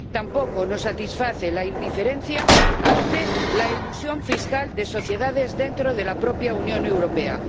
Tampoco nos satisface la indiferencia ante la elusión fiscal de sociedades dentro de la propia Unión Europea.